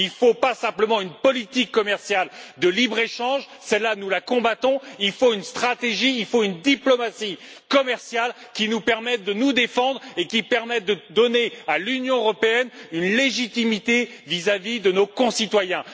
Il ne faut pas simplement une politique commerciale de libre échange celle là, nous la combattons il faut une stratégie, il faut une diplomatie commerciale qui nous permette de nous défendre et qui permette de donner à l'Union européenne une légitimité vis à vis de nos concitoyens.